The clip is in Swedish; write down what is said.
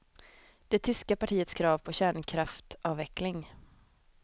Det tyska partiets krav på kärnkraftavveckling.